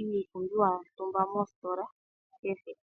iipumbiwa yotumba mositola kehe.